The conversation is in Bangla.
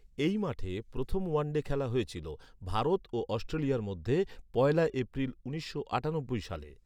এই মাঠে প্রথম ওয়ানডে খেলা হয়েছিল, ভারত ও অস্ট্রেলিয়ার মধ্যে পয়লা এপ্রিল উনিশশো আটানব্বই সালে।